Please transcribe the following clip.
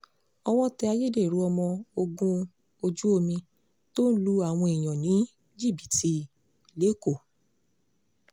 owó tẹ ayédèrú ọmọ ogun ojú omi tó ń lu àwọn èèyàn ní jìbìtì lẹ́kọ̀ọ́